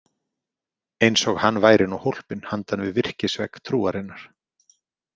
Eins og hann væri nú hólpinn handan við virkisvegg trúarinnar.